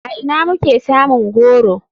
A ina muke samun goro?